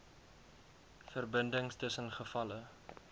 verbindings tussen gevalle